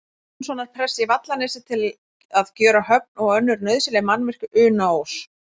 Jónssonar prests í Vallanesi, til að gjöra höfn og önnur nauðsynleg mannvirki við Unaós.